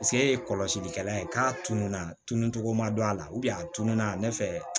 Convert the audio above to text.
e ye kɔlɔsilikɛla ye k'a tununa tununcogo ma don a la a tununa ne fɛ